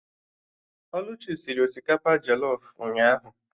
Oluchi sịrị osikapa jọlọf ụnyaahụ